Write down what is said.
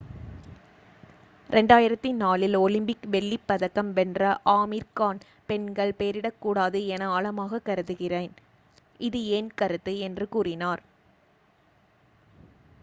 "2004 இல் ஒலிம்பிக் வெள்ளிப்பதக்கம் வென்ற ஆமீர் கான் "பெண்கள் போரிடக்கூடாது என ஆழமாக கருதுகிறேன். இது என் கருத்து" என்று கூறினார்.